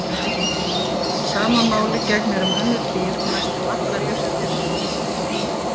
Sama máli gegnir um önnur dýr og næstum allar jurtir.